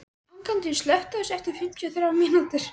Angantýr, slökktu á þessu eftir fimmtíu og þrjár mínútur.